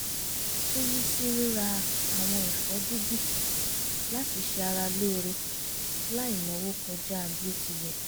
ó yí sí ríra àwọn ẹ̀fọ́ dídì láti ṣe ara lóore láì náwó kọjá bí ó ti yẹ